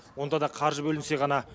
онда да қаржы бөлінсе ғана